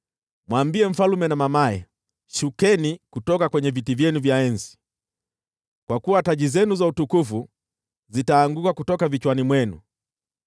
Mwambie mfalme na mamaye, “Shukeni kutoka kwenye viti vyenu vya enzi, kwa kuwa taji zenu za utukufu zitaanguka kutoka vichwani mwenu.”